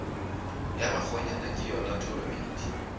ya bakgonyana ke yona tholomedi